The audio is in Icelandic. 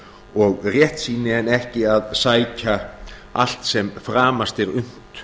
og réttsýni en ekki að sækja allt sem framast er unnt